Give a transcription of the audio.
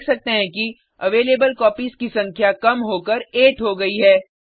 हम देख सकते हैं कि अवेलेबल कॉपीज की संख्या कम होकर 8 हो गयी है